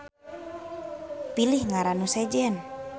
Pilih ngaran nu sejen